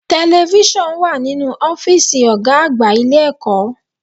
Television wà nínú ọ́fìsì ọ̀gá àgbà ilé ẹ̀kọ́.